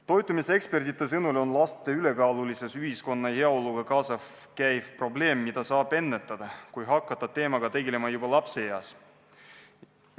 Toitumisekspertide sõnul on laste ülekaalulisus ühiskonna heaoluga kaasas käiv probleem, mida saab ennetada, kui hakata teemaga tegelema juba lapseeas.